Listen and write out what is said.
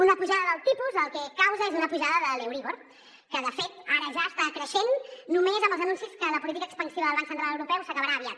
una pujada del tipus el que causa és una pujada de l’euríbor que de fet ara ja està creixent només amb els anuncis que la política expansiva del banc central europeu s’acabarà aviat